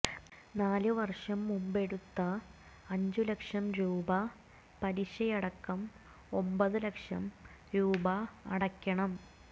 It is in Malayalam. നാലു വര്ഷം മുമ്പെടുത്ത അഞ്ചു ലക്ഷം രൂപ പലിശയടക്കം ഒമ്പതു ലക്ഷം രൂപ അടക്കണം